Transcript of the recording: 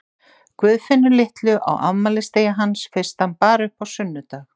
Guðfinnu litlu á afmælisdegi hans fyrst hann bar upp á sunnudag.